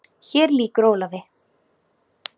Hér lýkur Ólafi.